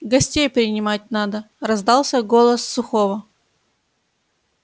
гостей принимать надо раздался голос сухого